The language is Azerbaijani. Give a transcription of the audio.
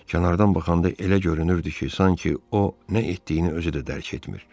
Kənardan baxanda elə görünürdü ki, sanki o nə etdiyini özü də dərk etmir.